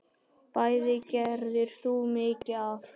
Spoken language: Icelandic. Bæði gerðir þú mikið af.